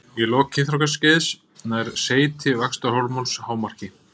Í lok kynþroskaskeiðs nær seyti vaxtarhormóns hámarki.